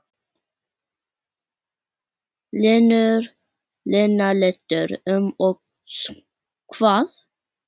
Lena lítur um öxl: Hvað?